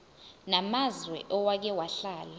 namazwe owake wahlala